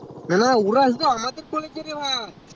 না না ওরা আমাদের কলেজে রে ভাই